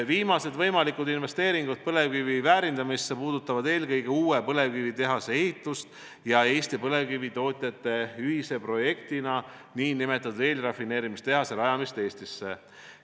Viimased võimalikud investeeringud põlevkivi väärindamisse puudutavad eelkõige uue põlevkiviõlitehase ehitust ja Eesti põlevkivitootjate ühise projektina nn eelrafineerimistehase rajamist Eestisse.